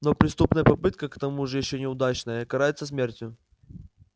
но преступная попытка к тому же ещё и неудачная карается смертью